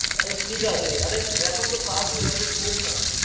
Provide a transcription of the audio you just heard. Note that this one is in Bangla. আরে ঠিকাছে, আরে এখন তো কাজ নেই আগে ঢোক না।